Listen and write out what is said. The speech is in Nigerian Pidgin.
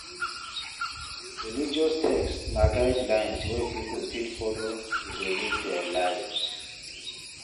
Religious text na guidelines wey pipo fit follow to dey live their lives